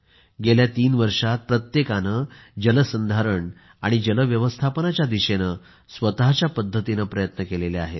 गेल्या तीन वर्षांत प्रत्येकाने जलसंधारण आणि जलव्यवस्थापनाच्या दिशेने स्वतःच्या पद्धतीने प्रयत्न केले आहेत